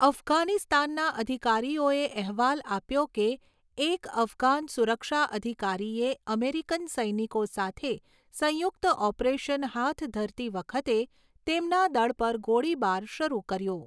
અફઘાનિસ્તાનના અધિકારીઓએ અહેવાલ આપ્યો કે એક અફઘાન સુરક્ષા અધિકારીએ અમેરિકન સૈનિકો સાથે સંયુક્ત ઓપરેશન હાથ ધરતી વખતે તેમના દળ પર ગોળીબાર શરૂ કર્યો.